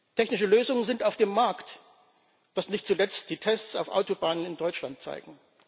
Technische Lösungen sind auf dem Markt, was nicht zuletzt die Tests auf Autobahnen in Deutschland zeigen.